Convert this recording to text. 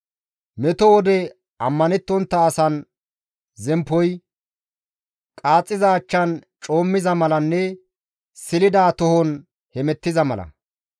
Metto wode ammanettontta asan zemppoy, qaaxxiza achchan coommiza malanne silida tohon hemettiza mala.